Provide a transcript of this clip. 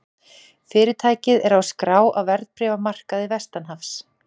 Fyrirtækið er skráð á verðbréfamarkaði vestanhafs